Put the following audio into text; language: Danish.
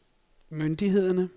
myndighederne